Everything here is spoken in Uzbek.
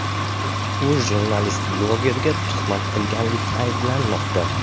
U jurnalist-blogerga tuhmat qilganlikda ayblanmoqda.